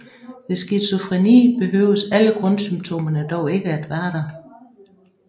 Ved skizofreni behøves alle grundsymptomerne dog ikke at være der